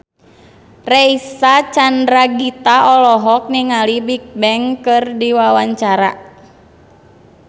Reysa Chandragitta olohok ningali Bigbang keur diwawancara